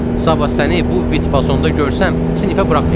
Sabah səni bu vitfasonunda görsəm, sinifə buraxmayacam.